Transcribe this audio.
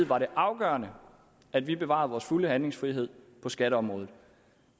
var det afgørende at vi bevarede vores fulde handlefrihed på skatteområdet og